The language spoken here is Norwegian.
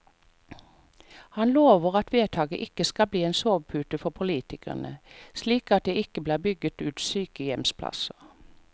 Han lover at vedtaket ikke skal bli en sovepute for politikerne, slik at det ikke blir bygget ut sykehjemsplasser.